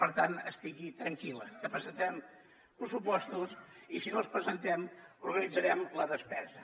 per tant estigui tranquil·la que presentarem pressupostos i si no els presentem organitzarem la despesa